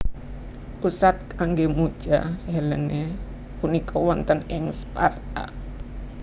Pusat kanggé muja Helene punika wonten ing Sparta